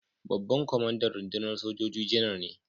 Babban kwamandan rundunar sojoji Janar ne.